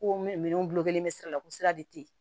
Ko minɛnw gulonnen bɛ sira la ko sira de tɛ yen